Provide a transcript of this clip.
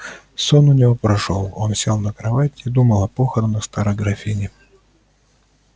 сон у него прошёл он сел на кровать и думал о похоронах старой графини